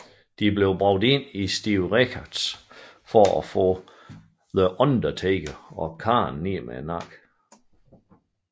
De blev bragt ind af Stevie Richards for at få The Undertaker og Kane ned med nakken